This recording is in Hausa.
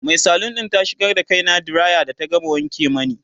Mai salon ɗin ta shigar da kaina diraya da ta gama wanke mani